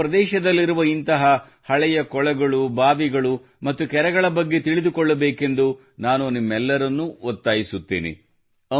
ನಿಮ್ಮ ಪ್ರದೇಶದಲ್ಲಿರುವ ಇಂತಹ ಹಳೆಯ ಕೊಳಗಳು ಬಾವಿಗಳು ಮತ್ತು ಕೆರೆಗಳ ಬಗ್ಗೆ ತಿಳಿದುಕೊಳ್ಳಬೇಕೆಂದು ನಾನು ನಿಮ್ಮೆಲ್ಲರನ್ನು ಒತ್ತಾಯಿಸುತ್ತೇನೆ